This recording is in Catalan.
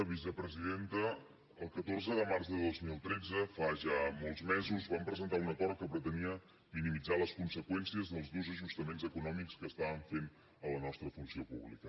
vicepresidenta el catorze de març de dos mil tretze fa ja molts mesos vam presentar un acord que pretenia minimitzar les conseqüències dels durs ajustaments econòmics que estàvem fent a la nostra funció pública